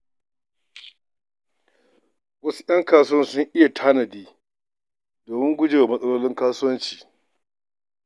Wasu 'yan kasuwar sun iya tanadi domin guje wa matsalolin kasuwanci.